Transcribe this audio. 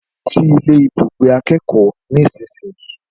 Lọ sí ilé ibùgbé akẹ́kọ̀ọ́ nísinsìnyí